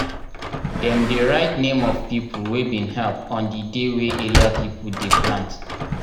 dem dey write name of people wey bin help on di dey wey area people dey plant.